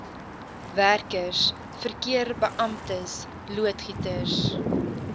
werkers verkeerbeamptes loodgieters